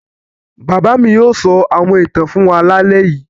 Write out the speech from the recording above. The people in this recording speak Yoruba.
Bàbá mi yóò sọ àwọn ìtàn fún wa lálẹ́ yìí.